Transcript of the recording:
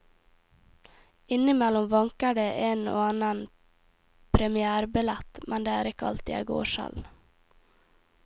Innimellom vanker det en og annen premièrebillett, men det er ikke alltid jeg går selv.